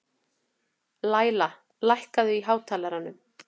Læla, hækkaðu í hátalaranum.